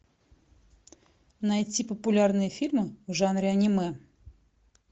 найти популярные фильмы в жанре аниме